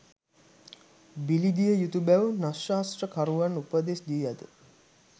බිලිදිය යුතු බැව් නක්‍ෂත්‍රකරුවන් උපදෙස් දී ඇත.